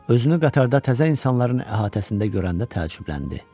Özünü qatarda təzə insanların əhatəsində görəndə təəccübləndi.